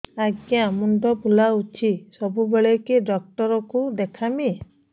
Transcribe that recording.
ଆଜ୍ଞା ମୁଣ୍ଡ ବୁଲାଉଛି ସବୁବେଳେ କେ ଡାକ୍ତର କୁ ଦେଖାମି